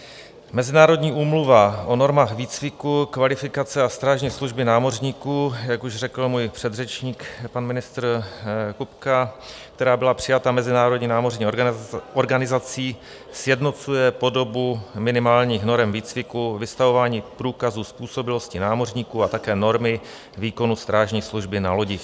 Mezinárodní úmluva o normách výcviku, kvalifikace a strážní služby námořníků, jak už řekl můj předřečník, pan ministr Kupka, která byla přijata Mezinárodní námořní organizací, sjednocuje podobu minimálních norem výcviku, vystavování průkazů způsobilosti námořníků a také normy výkonu strážní služby na lodích.